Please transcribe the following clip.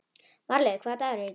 Marlaug, hvaða dagur er í dag?